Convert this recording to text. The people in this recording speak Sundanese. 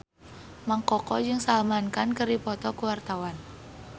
Mang Koko jeung Salman Khan keur dipoto ku wartawan